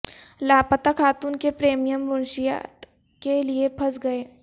لاپتہ خاتون کے پریمیئر منشیات کے لئے پھنس گئے